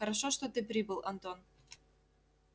хорошо что ты прибыл антон